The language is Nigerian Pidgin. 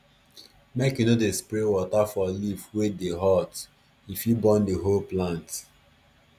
make u no dey spray water for leaf wey dey hot e fit burn the whole plant